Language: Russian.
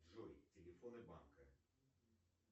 джой телефоны банка